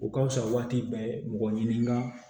U ka wusa waati bɛɛ mɔgɔ ɲinika